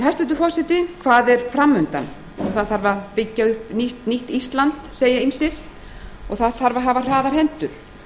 hæstvirtur forseti hvað er fram undan það þarf að byggja upp nýtt ísland segja ýmsir og það þarf að hafa hraðar hendur